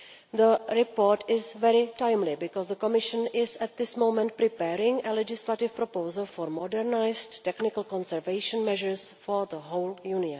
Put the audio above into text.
The report is very timely, because the Commission is at this moment preparing a legislative proposal for modernised technical conservation measures for the whole EU.